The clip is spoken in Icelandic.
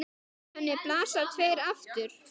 Við henni blasa tveir aftur